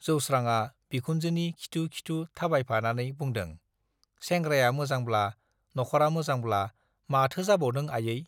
जोस्रांआ बिखुनजोनि खिथु-खिथु थाबायफानानै बुंदों, सेंग्राया मोजांब्ला, नखरा मोजांब्ला माथो जाबावदों आयै?